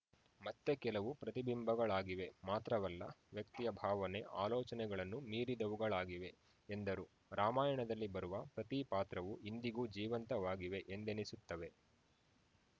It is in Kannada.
ಮತ್ತೆ ಕೆಲವು ಪ್ರತಿಬಿಂಬಗಳಾಗಿವೆ ಮಾತ್ರವಲ್ಲ ವ್ಯಕ್ತಿಯ ಭಾವನೆ ಆಲೋಚನೆಗಳನ್ನು ಮೀರಿದವುಗಳಾಗಿವೆ ಎಂದರು ರಾಮಾಯಣದಲ್ಲಿ ಬರುವ ಪ್ರತಿ ಪಾತ್ರವೂ ಇಂದಿಗೂ ಜೀವಂತವಾಗಿವೆ ಎಂದೆನಿಸುತ್ತವೆ